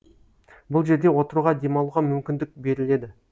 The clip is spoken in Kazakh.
бұл жерде отыруға демалуға мүмкіндік беріледі